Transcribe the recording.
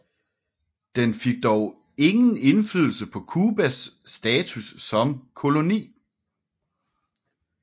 Den fik dog ingen indflydelse på Cubas status som koloni